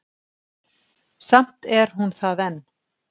Samt er hún það enn.